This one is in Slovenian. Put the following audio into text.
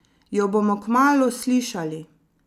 Jo bomo kmalu slišali?